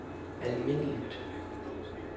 almindeligt